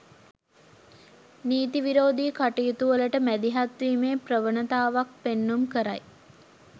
නීතිවිරෝධී කටයුතුවලට මැදිහත්වීමේ ප්‍රවණතාවක් පෙන්නුම් කරයි.